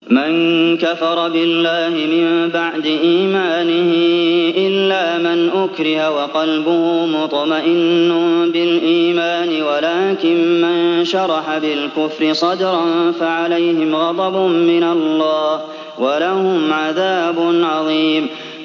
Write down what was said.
مَن كَفَرَ بِاللَّهِ مِن بَعْدِ إِيمَانِهِ إِلَّا مَنْ أُكْرِهَ وَقَلْبُهُ مُطْمَئِنٌّ بِالْإِيمَانِ وَلَٰكِن مَّن شَرَحَ بِالْكُفْرِ صَدْرًا فَعَلَيْهِمْ غَضَبٌ مِّنَ اللَّهِ وَلَهُمْ عَذَابٌ عَظِيمٌ